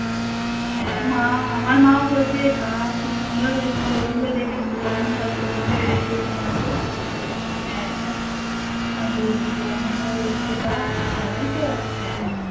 মা আমার মা ও বলেছে বাহ্ খুব সুন্দর হয়েছে ছবি গুলো দেখেছে সৌমি সব ছবিগুলো দেখিয়েছে মাকে হ্যা আর বৌদি বৌমনি ও বলছে বাহ্ ভালোইতো